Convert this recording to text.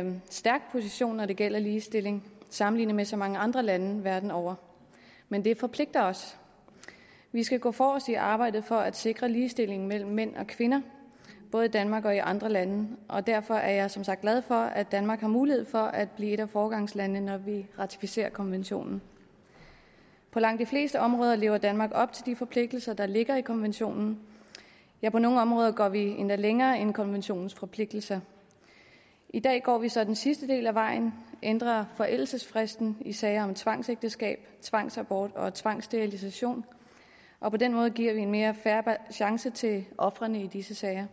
en stærk position når det gælder ligestilling sammenlignet med så mange andre lande verden over men det forpligter os vi skal gå forrest i arbejdet for at sikre ligestilling mellem mænd og kvinder både i danmark og i andre lande og derfor er jeg som sagt glad for at danmark har mulighed for at blive et af foregangslandene når vi ratificerer konventionen på langt de fleste områder lever danmark op til de forpligtelser der ligger i konventionen ja på nogle områder går vi endda længere end konventionens forpligtelser i dag går vi så den sidste del af vejen og ændrer forældelsesfristen i sager om tvangsægteskab tvangsabort og tvangssterilisation og på den måde giver vi en mere fair chance til ofrene i disse sager